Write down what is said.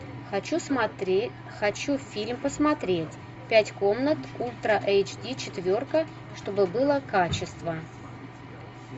хочу смотреть хочу фильм посмотреть пять комнат ультра эйч ди четверка чтобы было качество